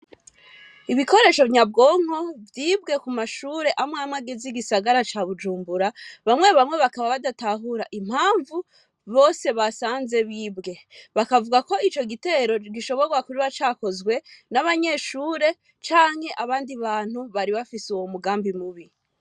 Ibikoresho nyabwonko, vyibwe ku mashure amwamwe agize igisaga ca Bujumbura, Bamwe bamwe bakaba badatahura impamvu, bose basanze bibwe. Bakavuga ko ico gitero gishoborwa kuba cakozwe, n'abanyeshure canke abandi bantu bari bafise uwo mugambi mubi.